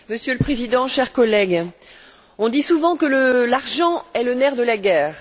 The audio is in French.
Monsieur le Président, chers collègues, on dit souvent que l'argent est le nerf de la guerre.